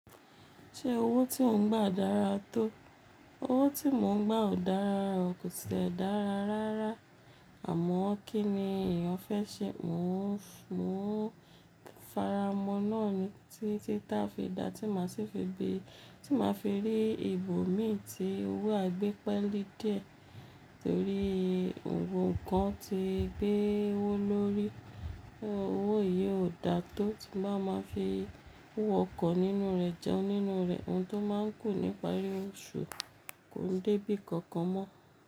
Ṣé owó tí ò ń gbà dára tó? Owó tí mò ń gbà ò dára, kò tìlẹ dára rárá. Àmọ́ kí ni èèyàn fẹ́ ṣe? Mo ń, mo ń fara mọ́ náà ni tí, títa fi dá, tí màá ṣe fi gbé, tí màá fi rí ibòmíì tí owó à e gbépẹ́lí dì ẹ́. Nítorí gbogbo nkan ti gbé owó lórí, owó yìí ò dáa tó tí bá máa fi owó ọkọ̀ nínú rẹ̀ jẹun nínú rẹ̀. Ohun tó máa ń kù nípárí oṣù kò dé bí kankan mọ́